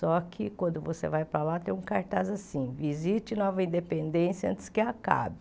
Só que quando você vai para lá, tem um cartaz assim, visite Nova Independência antes que acabe.